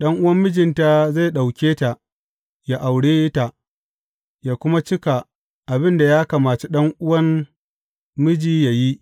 Ɗan’uwan mijinta zai ɗauke ta, yă aure ta, yă kuma cika abin da yă kamaci ɗan’uwan miji yă yi.